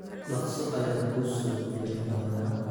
dhaqso ayaan kuu soo celin doonaa